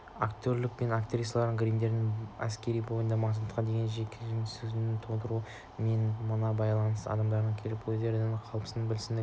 актерлер мен актрисалардың гримдері әскердің бойында маскаға деген жеккөрушілік сезімін тудырады мына бейтаныс адамдар келіп өздерінің қылымсыған бәлсінген